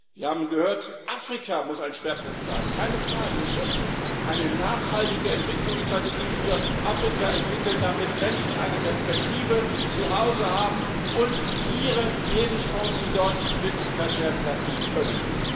Wir haben gehört Afrika muss ein Schwerpunkt sein. Keine Frage, wir müssen eine nachhaltige Entwicklungsstrategie für Afrika entwickeln, damit Menschen zu Hause eine Perspektive haben und ihre Lebenschancen dort Wirklichkeit werden lassen können.